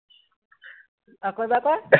আকৌ এবাৰ কোৱা